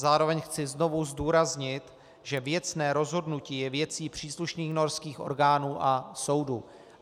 Zároveň chci znovu zdůraznit, že věcné rozhodnutí je věcí příslušných norských orgánů a soudu.